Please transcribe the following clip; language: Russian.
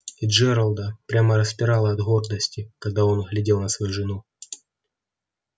и джералда прямо распирало от гордости когда он глядел на свою жену